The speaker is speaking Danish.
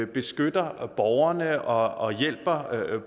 beskytter borgerne og og hjælper